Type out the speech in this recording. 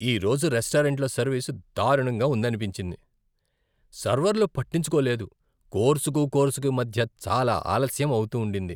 ఈ రోజు రెస్టారెంట్లో సర్వీస్ దారుణంగా ఉందనిపించింది. సర్వర్లు పట్టించుకోలేదు, కోర్సుకు కోర్సుకు మధ్య చాలా ఆలస్యం అవుతుండింది.